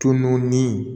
Tunu ni